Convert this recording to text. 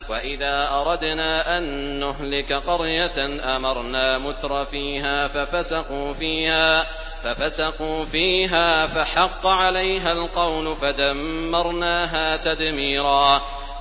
وَإِذَا أَرَدْنَا أَن نُّهْلِكَ قَرْيَةً أَمَرْنَا مُتْرَفِيهَا فَفَسَقُوا فِيهَا فَحَقَّ عَلَيْهَا الْقَوْلُ فَدَمَّرْنَاهَا تَدْمِيرًا